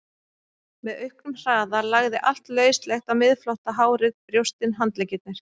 Með auknum hraða lagði allt lauslegt á miðflótta, hárið, brjóstin, handleggirnir.